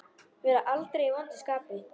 Vera aldrei í vondu skapi.